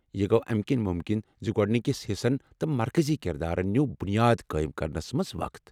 یہٕ گوٚو امہِ کِنۍ ممکن ز گوڑنکس حصن تہٕ مرکزی کردارن نیوٗو بنیاد قائم کرنس منٛز وقت ۔